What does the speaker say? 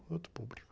Outro público.